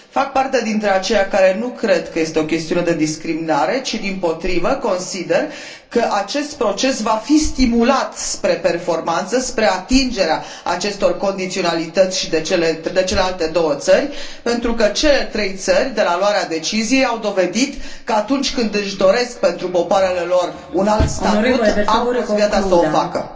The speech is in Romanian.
Fac parte dintre aceia care nu cred că este o chestiune de discriminare ci, dimpotrivă, consider că acest proces va fi stimulat spre performanță, spre atingerea acestor condiționalități și de celelalte două țări, pentru că cele trei țări, de la luarea deciziei, au dovedit că, atunci când își doresc pentru popoarele lor un alt statut, au fost gata să o facă. BRK